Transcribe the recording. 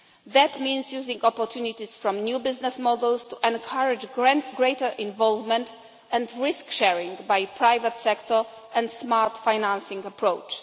base. That means using opportunities from new business models to encourage greater involvement and risk-sharing by the private sector and a smart financing approach.